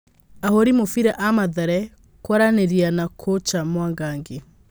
Ahũri mũbira a Mathare kwaranĩria na kũcha Mwangangi.